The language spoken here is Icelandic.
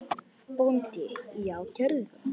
BÓNDI: Já, gerið það.